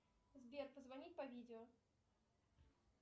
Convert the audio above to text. сбер позвонить по видео